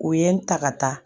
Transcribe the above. U ye n ta ka taa